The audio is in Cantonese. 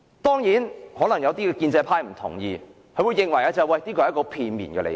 當然，可能有建制派議員不同意，認為這是片面的理解。